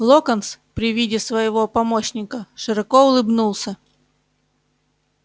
локонс при виде своего помощника широко улыбнулся